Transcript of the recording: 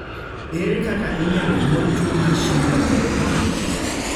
Ere kaka inyalo nyuol tuwo mar Schindler type 1?